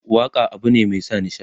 waƙa abune Mai sa nishaɗi.